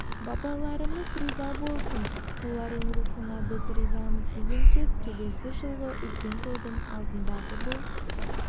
бабаларымыз риза болсын солардың рухына біз ризамыз деген сөз келесі жылғы үлкен тойдың алдындағы бұл